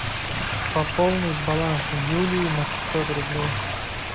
пополнить баланс юлии на пятьсот рублей